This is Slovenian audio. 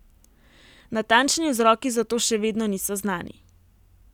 Natančni vzroki za to še vedno niso znani.